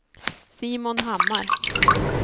Simon Hammar